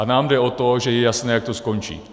A nám jde o to, že je jasné, jak to skončí.